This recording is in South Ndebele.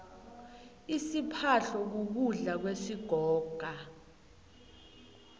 isiphahlo kukudla kwesigoga